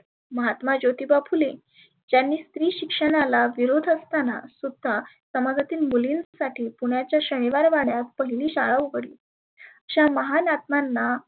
महात्मा ज्योतीबा फुले ज्यांनी स्त्री शिक्षणाला विरोध असताना सुद्धा समाजातील मुलींसाठी पुण्याच्या शनिवार वाड्यात पहिली शाळा उघडली. अशा महान आत्मांना